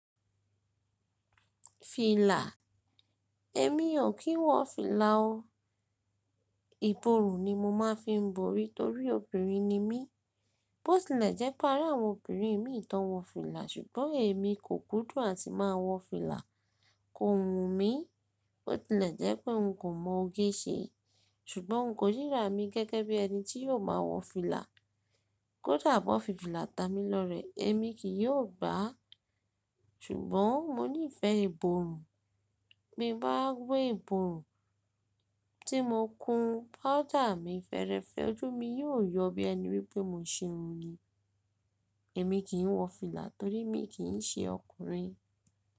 Fìlà? Èmi ò kí ń wọ fìlà o. Ìborùn ni mo máa fi ń borí torí obìnrin ni mí. Bó tilẹ̀ jẹ́ pé arí àwọn obìnrin mi ì tọ́ wọ fìlà ṣùgbọ́n èmi kò kúndùn àti máa wọ fìlà. Kò wù ń mí. Bó tilẹ̀ jẹ́ pé ń kó mọ̀ gé ṣe ṣùgbọ́n ń kò ríra mi gẹ́gẹ́ bí ẹni tí yóò máa wọ fìlà. Kódà bó fi fìlà ta mi lọrẹ̀ èmi kì yóò gbà á. Ṣùgbọ́n mo nífẹ̀ẹ́ ìborùn. Bí bá gbé ìborùn tí mo kun, powder mi fẹ́ẹ́rẹ́fẹ́, ojú mi yóò yọ bí ẹni wípé mo ṣe irun ni. Èmi kì ń wọ fìlà torí mi kì ń ṣe ọkùnrin.